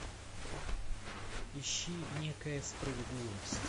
ищи некая справедливость